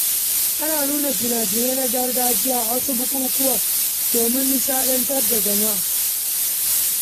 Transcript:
Ana nuna fina-finai na gargajiya a wasu bukukuwa domin ilmantar da mutane.